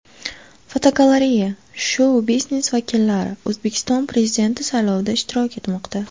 Fotogalereya: Shou-biznes vakillari O‘zbekiston Prezidenti saylovida ishtirok etmoqda.